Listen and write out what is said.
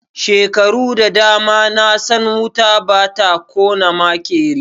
Shekaru da dama na san wuta ba ta kona maƙeri.